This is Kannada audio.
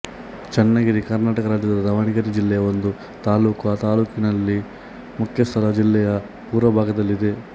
ಚನ್ನಗಿರಿ ಕರ್ನಾಟಕ ರಾಜ್ಯದ ದಾವಣಗೆರೆ ಜಿಲ್ಲೆಯ ಒಂದು ತಾಲ್ಲೂಕು ಆ ತಾಲ್ಲೂಕಿನ ಮುಖ್ಯ ಸ್ಥಳ ಜಿಲ್ಲೆಯ ಪೂರ್ವಭಾಗದಲ್ಲಿದೆ